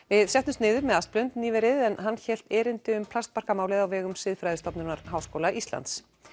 við settumst niður með nýverið en hann hélt erindi um á vegum Siðfræðistofnunar Háskóla Íslands